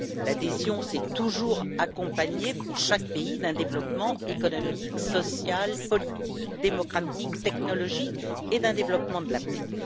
L'adhésion s'est toujours accompagnée, pour chaque pays, d'un développement économique, social, politique, démocratique, technologique et d'un développement de la paix.